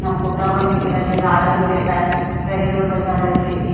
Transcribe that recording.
ના ફોટા પણ મુકેલા છે. ગાર્ડન છે પેર બતાવ્યો છે એક--